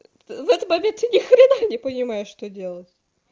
в этот момент ты не хрена не понимаешь что делать